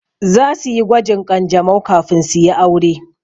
Zasu yi gwajin ƙanjamau kafin su yi aure.